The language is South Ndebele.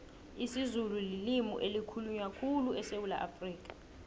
isizulu lilimu elikhulunywa khulu esewula afrikha